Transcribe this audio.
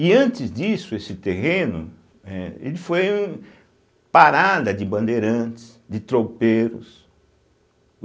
E antes disso, esse terreno, eh, ele foi parada de bandeirantes, de tropeiros.